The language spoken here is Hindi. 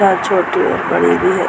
छोटी और बड़ी भी है।